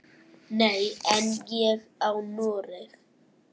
Nei, en ég á Noreg.